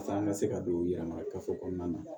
Paseke an ka se ka don u yɛrɛ ma gafe kɔnɔna na